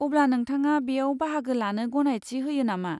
अब्ला, नोंथाङा बेयाव बाहागो लानो गनायथि होयो नामा?